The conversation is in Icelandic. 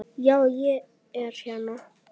Já, ég er hérna.